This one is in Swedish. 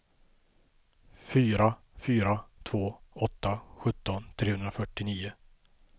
fyra fyra två åtta sjutton trehundrafyrtionio